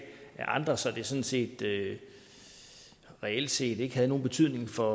af andre så det sådan set reelt set ikke havde nogen betydning for